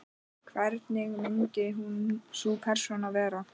Hvernig myndi sú persóna vera?